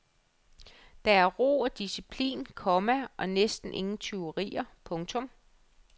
Der er ro og disciplin, komma og næsten ingen tyverier. punktum